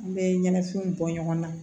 An bɛ ɲɛnafinw bɔ ɲɔgɔn na